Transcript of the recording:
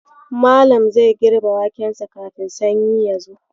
Malam zai girbe wakensa kafin sanyi ya zo.